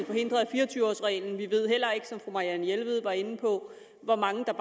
forhindret af fire og tyve års reglen vi ved heller ikke som fru marianne jelved var inde på hvor mange der